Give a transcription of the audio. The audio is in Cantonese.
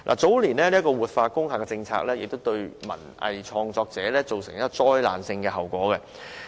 早年"活化工廈"的政策亦對文藝創作者造成災難性的後果。